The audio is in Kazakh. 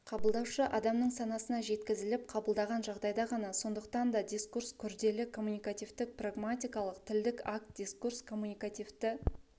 қабылдаушы адамның санасына жеткізіліп қабылданған жағдайда ғана сондықтан да дискурс күрделі коммуникативтік-прагматикалық тілдік акт дискурс коммуникативті